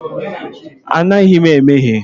Anaghị m emehie.